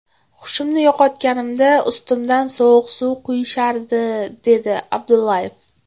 Hushimni yo‘qotganimda ustimdan sovuq suv quyishardi”, dedi Abdullayev.